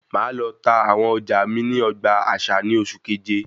Máa lọ tá àwọn ọjà mí ní ogbà àṣà ní oṣù keje